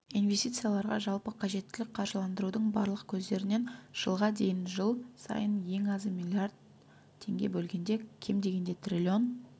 инвестицияларға жалпы қажеттілік қаржыландырудың барлық көздерінен жылға дейін жыл сайын ең азы миллиард теңге бөлгенде кем дегенде триллион